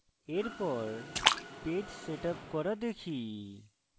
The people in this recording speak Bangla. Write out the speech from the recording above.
এরপর পেজ setup করা দেখি